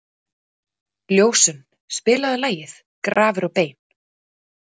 Ljósunn, spilaðu lagið „Grafir og bein“.